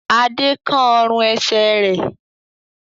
Adé kán ọrùn-ẹsẹ̀ rẹ̀?